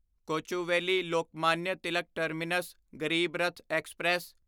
Kochuveli Lokmanya Tilak terminus Garib Rath express